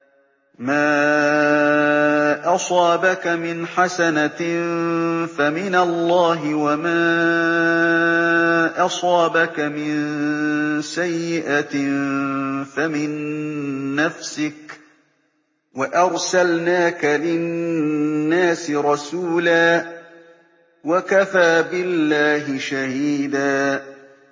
مَّا أَصَابَكَ مِنْ حَسَنَةٍ فَمِنَ اللَّهِ ۖ وَمَا أَصَابَكَ مِن سَيِّئَةٍ فَمِن نَّفْسِكَ ۚ وَأَرْسَلْنَاكَ لِلنَّاسِ رَسُولًا ۚ وَكَفَىٰ بِاللَّهِ شَهِيدًا